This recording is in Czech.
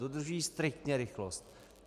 Dodržují striktně rychlost.